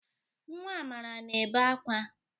Nwa Amara na-ebe akwa.